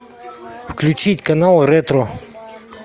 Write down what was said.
включить канал ретро